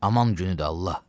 Aman günüdür, Allah.